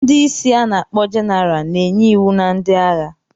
Ndị isi ana-akpo Jeneral na-enye iwu na ndị agha.